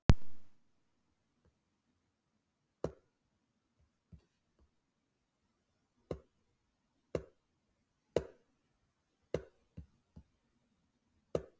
Er ekki hægt að gera slíkt hið sama með hanana?